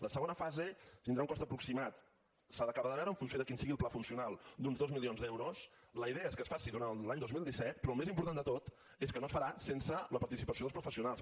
la segona fase tindrà un cost aproximat s’ha d’acabar de veure en funció de quin sigui el pla funcional d’uns dos milions d’euros la idea és que es faci durant l’any dos mil disset però el més important de tot és que no es farà sense la participació dels professionals